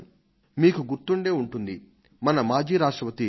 మీకు గుర్తుండే ఉంటుంది మన పూర్వ రాష్ట్రపతి డాక్టర్ ఎ